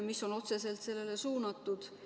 See on ju otseselt sellele suunatud.